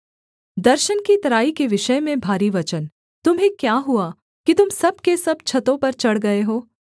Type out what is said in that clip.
दर्शन की तराई के विषय में भारी वचन तुम्हें क्या हुआ कि तुम सब के सब छतों पर चढ़ गए हो